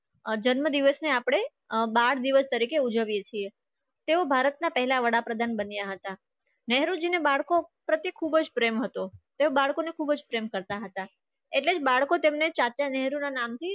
આ જન્મદિવસની આપણે બાર દિવસ તરીકે ઉજવીએ છીએ તેઓ ભારતના પહેલા વડાપ્રધાન બન્યા હતા ને બાળકો પ્રત્યે ખૂબ જ પ્રેમ હતો. તે બાળકોને ખૂબ જ પ્રેમ કરતા હતા. એટલે જ બાળકો તેમને ચાચા નહેરુ ના નામથી